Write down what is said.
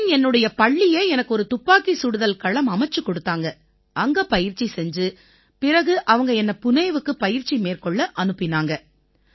பிறகு என் பள்ளியே எனக்கு ஒரு துப்பாக்கிச் சுடுதல் களம் அமைச்சுக் கொடுத்தாங்க அங்க பயிற்சி செஞ்சு பிறகு அவங்க என்னை புணேவுக்கு பயிற்சி மேற்கொள்ள அனுப்பினாங்க